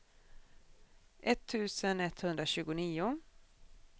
etttusen etthundratjugonio